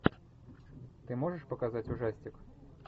ты можешь показать ужастик